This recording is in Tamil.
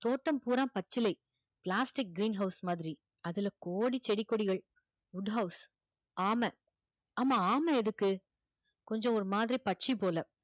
தோட்டம் பூராம் பச்சிலை plastic green house மாதிரி அதுல கோடி செடி கொடிகள் wood house ஆமை ஆமா ஆமை எதுக்கு கொஞ்சம் ஒரு மாதிரி பட்சி போல